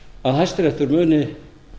að hæstiréttur muni